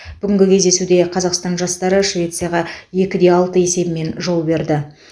бүгінгі кездесуде қазақстан жастары швецияға екіде алты есебімен жол берді